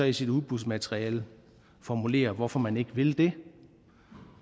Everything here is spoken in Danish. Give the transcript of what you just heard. i sit udbudsmateriale formulere hvorfor man ikke vil det